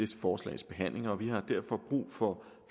forslags behandling og vi har derfor brug for